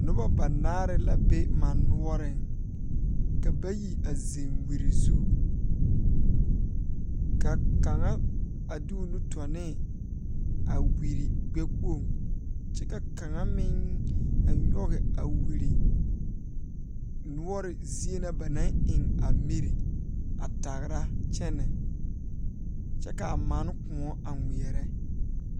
Noba banaare la be mane noɔreŋ ka bayi a zeŋ wiri zu ka kaŋa a de o nu tɔ ne a wiri gbɛkpoŋ kyɛ ka kaŋa meŋ a nyoge a wiri noɔre zie na ba naŋ eŋ a miri a tagra kyɛnɛ kyɛ kaa manw kõɔ a ngmeɛɛrɛ.